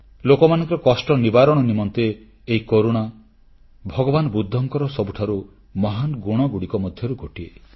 ଲୋକମାନଙ୍କର କଷ୍ଟ ନିବାରଣ ନିମନ୍ତେ ଏହି କରୁଣା ଭଗବାନ ବୁଦ୍ଧଙ୍କର ସବୁଠାରୁ ମହାନ ଗୁଣଗୁଡ଼ିକ ମଧ୍ୟରୁ ଗୋଟିଏ